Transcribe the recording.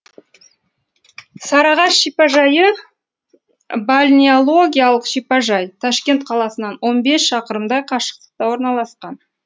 сарыағаш шипажайы бальнеологиялық шипажай ташкент қаласынан он бес шақырымдай қашықтықта орналасқан